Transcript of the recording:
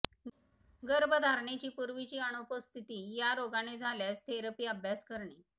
गर्भधारणेची पूर्वीची अनुपस्थिती या रोगाने झाल्यास थेरपी अभ्यास करणे